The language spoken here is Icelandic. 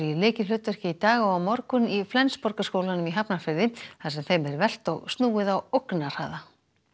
lykilhlutverki í dag og á morgun í Flensborgarskóla í Hafnarfirði þar sem þeim er velt og snúið á ógnarhraða